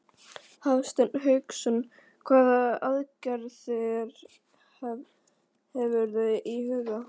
Hafsteinn Hauksson: Hvaða aðgerðir hefurðu í huga?